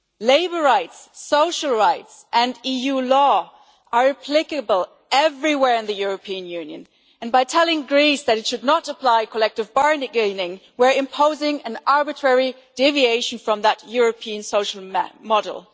Labour rights, social rights and EU law are applicable everywhere in the European Union and by telling Greece that it should not apply collective bargaining we are imposing an arbitrary deviation from that European social model.